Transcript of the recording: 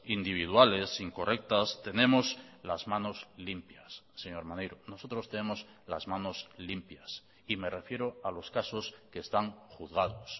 individuales incorrectas tenemos las manos limpias señor maneiro nosotros tenemos las manos limpias y me refiero a los casos que están juzgados